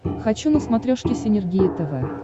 хочу на смотрешке синергия тв